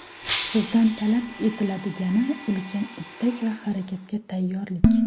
Sizdan talab etiladigani ulkan istak va harakatga tayyorlik.